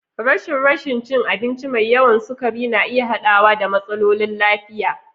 Rashin rashin cin abinci mai yawan sukari na iya haɗawa da matsalolin lafiya.